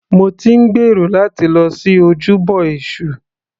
Mo ti ń gbèrò láti lọ sí ojúbọ èṣù.